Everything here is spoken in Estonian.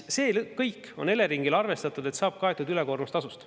See kõik on Eleringil arvestatud, et selle saab kaetud ülekoormustasust.